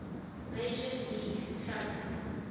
major league clubs